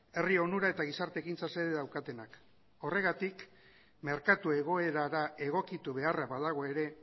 herri onura eta gizarte ekintza xede daukatenak horregatik merkatu egoerara egokitu beharra badago ere